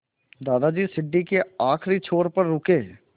दादाजी सीढ़ी के आखिरी छोर पर रुके